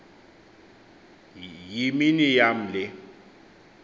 yimini yam le